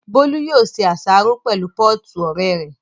Bólú yóò ṣe àsáró pẹ̀lú pọ́ọ̀tù ọ̀rẹ́ rẹ̀